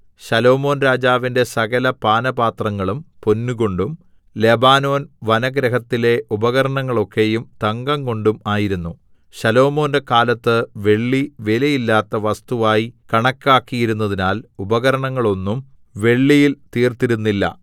ശലോമോൻരാജാവിന്റെ സകലപാനപാത്രങ്ങളും പൊന്നുകൊണ്ടും ലെബാനോൻ വനഗൃഹത്തിലെ ഉപകരണങ്ങളൊക്കെയും തങ്കംകൊണ്ടും ആയിരുന്നു ശലോമോന്റെ കാലത്ത് വെള്ളി വിലയില്ലാത്ത വസ്തുവായി കണക്കാക്കിയിരുന്നതിനാൽ ഉപകരണങ്ങളൊന്നും വെള്ളിയിൽ തീർത്തിരുന്നില്ല